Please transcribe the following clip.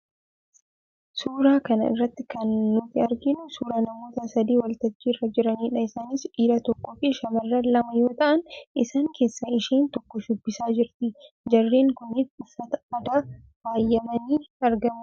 Suuraa kana irratti kana nuti arginu suuraa namoota sadii waltajjii irra jiraniidha. Isaanis dhiira tokkoo fi shamarran lama yoo ta'an, isaan keessaa isheen tokko shubbisaa jirti. Jarreen kunis uffata aadaa faayamanii argamu.